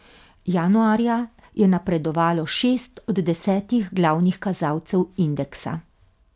Januarja je napredovalo šest od desetih glavnih kazalcev indeksa.